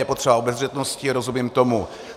Je potřeba obezřetnosti, rozumím tomu.